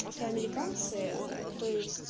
афроамериканцы то есть